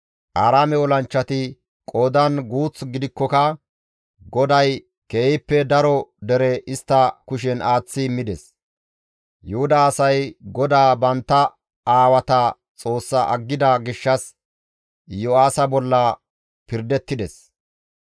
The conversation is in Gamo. Aaraame olanchchati qoodan guuth gidikkoka GODAY keehippe daro dere istta kushen aaththi immides; Yuhuda asay GODAA bantta aawata Xoossa aggida gishshas Iyo7aasa bolla pirdettides.